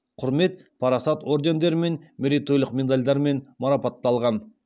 құрмет парасат ордендерімен мерейтойлық медальдармен марапатталған